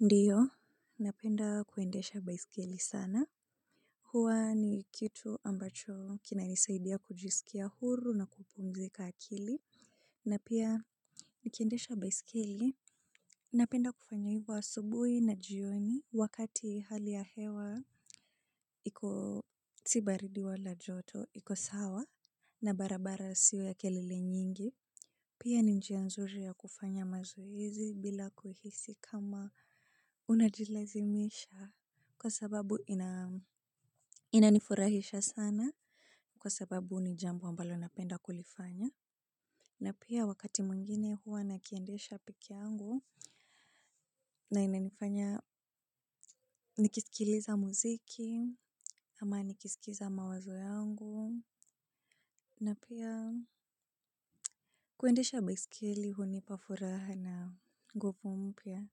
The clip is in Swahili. Ndiyo napenda kuendesha baiskeli sana huwa ni kitu ambacho kinanisaidia kujisikia huru na kupumzika akili na pia nikiendesha baiskeli napenda kufanya hivyo asubuhi na jioni wakati hali ya hewa iko si baridi wala joto iko sawa na barabara siyo ya kelele nyingi. Pia ni njia nzuri ya kufanya mazoezi bila kuhisi kama unajilazimisha kwa sababu inanifurahisha sana kwa sababu ni jambo ambalo napenda kulifanya. Na pia wakati mwingine huwa nakiendesha peke yangu na inanifanya nikisikiliza muziki ama nikisikiza mawazo yangu na pia kuendesha baiskeli hunipa furaha na nguvu mpya